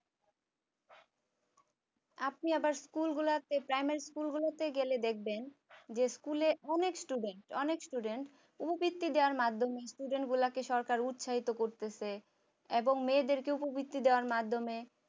আপনি আবার school গুলোতে primary school গুলোতে গেলে দেখবেন যে school অনেক student অনেক student অনুবৃত্তি দেওয়ার মাধ্যমে student গুলাকে সরকার উৎসাহিত করতেছে এবং মেয়েদেরকে উপবৃত্তি দেওয়ার মাধ্যমে